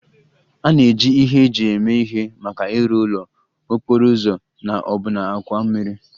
A na-eji ihe eji eme ihe maka ịrụ ụlọ, okporo ụzọ na ọbụna àkwà mmiri